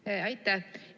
Aitäh!